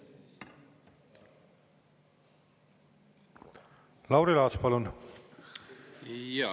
Lauri Laats, palun!